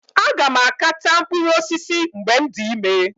Aga m aka taa mkpụrụ osisi mgbe m dị ime.